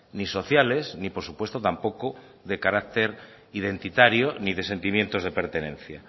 ni sociales ni por supuesto tampoco de carácter identitario ni de sentimientos de pertenencia